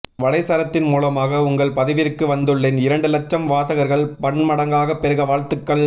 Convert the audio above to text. வலைச்சரத்தின் மூலமாக உங்கள் பதிவிற்கு வந்துள்ளேன் இரண்டு இலட்சம் வாசகர்கள் பன்மடங்காகப் பெருக வாழ்த்துக்கள்